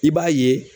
I b'a ye